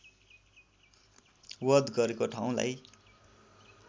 वध गरेको ठाउँलाई